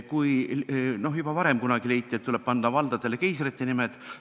Juba kunagi varem leiti, et tuleb panna valdadele keisrite nimed.